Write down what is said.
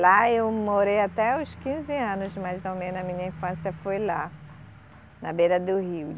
Lá eu morei até os quinze anos, mais ou menos, a minha infância foi lá, na beira do rio.